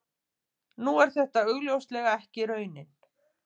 Nú er þetta augljóslega ekki raunin.